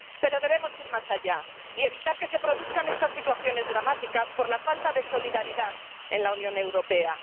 Pero debemos ir más allá y evitar que se produzcan estas situaciones dramáticas por la falta de solidaridad en la Unión Europea.